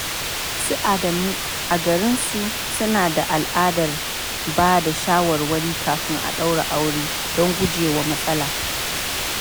Su Adamu, a garinsu, suna da al’adar ba da shawarwari kafin a ɗaura aure don guje wa matsala.